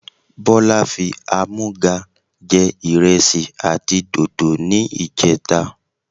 Bọlá fi àmúga jẹ ìrẹsì àti dòdò ni ìjẹta.